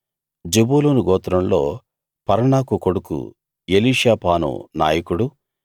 జెబూలూను గోత్రంలో పర్నాకు కొడుకు ఎలీషాపాను నాయకుడు